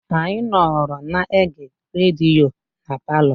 A nọọrọ na-ege rediyo na palọ.